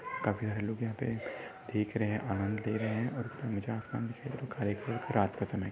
काफी सारे लोग यहा पे देख रहे है आनंद ले रहे है और जो आसमान दिखाई दे रहा है जो काले कलर का रात का समय--